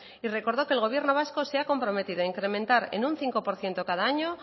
y recordó que el gobierno vasco se ha comprometido en incrementar en un cinco por ciento cada año